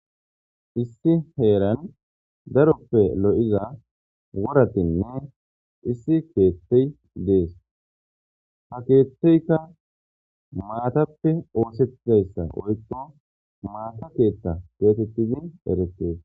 Issi heeran daroppe lo'iza woratinne issi keettey dees ha keetteykka maatappe oosetayssa oykko maata keetta geetettizin eretees.